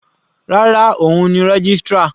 Rárá, òun ni registrar.